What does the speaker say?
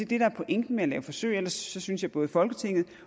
det der er pointen med at lave forsøg ellers synes jeg at både folketinget